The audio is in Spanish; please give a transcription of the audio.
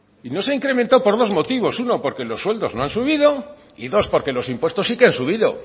y no se ha incrementado por dos motivos uno porque los sueldos no han subido y dos porque los impuestos sí que han subido